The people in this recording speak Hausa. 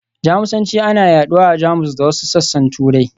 Jamusanci ana yaɗuwa a Jamus da wasu sassan Turai.